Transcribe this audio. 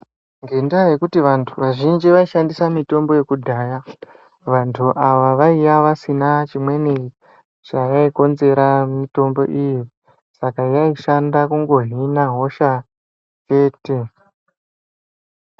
Ngendaa yekuti vantu vazhinji vaishandisa mitombo yekudhaya ,vantu vaiva vasina chimweni chavaikonzera mitombo iyi, saka yaishanda kungozvina hosha chete.